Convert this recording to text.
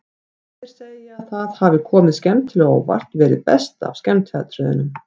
Þeir segja að það hafi komið skemmtilega á óvart, verið best af skemmtiatriðunum.